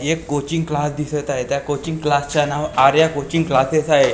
एक coaching class दिसत आहे त्या कोचिंग क्लासचं नाव आर्या कोचिंग क्लासेस आहे एक दिवा दि--